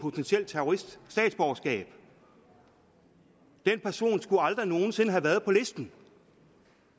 potentiel terrorist statsborgerskab den person skulle aldrig nogen sinde have været på listen